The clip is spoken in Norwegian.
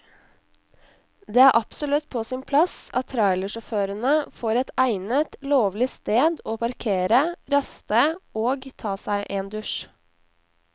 Det er absolutt på sin plass at trailersjåførene får et egnet, lovlig sted å parkere, raste og ta seg en dusj.